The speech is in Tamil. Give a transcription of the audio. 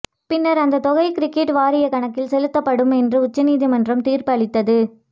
பின்னர் அந்த தொகை கிரிக்கெட் வாரிய கணக்கில் செலுத்தப்படும் என்று உச்சநீதிமன்றம் தீர்ப்பு அளித்தது